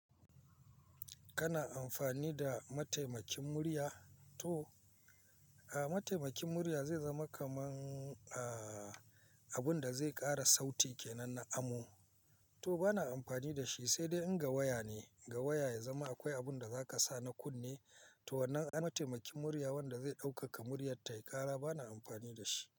Kana amfani da mataimakin murya to, a mataimakin murya zai zama kaman a abun da zai ƙara sauti kenan na amo. To bana amfani da shi, sai dai in ga waya ne, ga waya ya zama akwai abun da za ka sa na kunne. To wannan ai mataimakin murya wanda zai ɗaukaka muryar tayi ƙara bana amfani da shi.